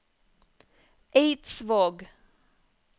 Eidsvåg